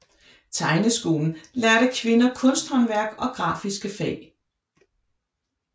Tegneskolen lærte kvinder kunsthåndværk og grafiske fag